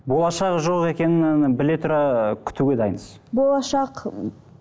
болашағы жоқ екенін біле тұра күтуге дайынсыз болашақ